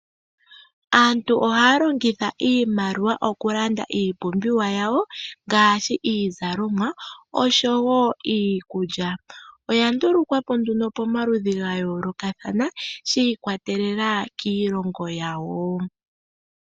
Aantu ohaya longitha iimaliwa okulanda iipumbiwa yawo ngaashi iizalomwa oshowo iikulya. Oya ndulukwa po nduno pomaludhi ga yoolokathana shi ikwatelela kiilongo yawo.